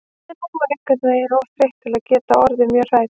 En hún var einhvern veginn of þreytt til að geta orðið mjög hrædd.